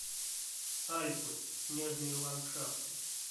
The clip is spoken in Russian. альпы снежные ландшафты